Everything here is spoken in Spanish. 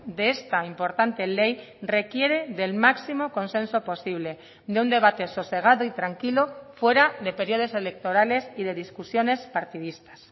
de esta importante ley requiere del máximo consenso posible de un debate sosegado y tranquilo fuera de periodos electorales y de discusiones partidistas